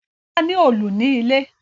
Bola ní Òòlù ní ilé.